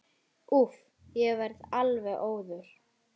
Úff, ég verð alveg óður.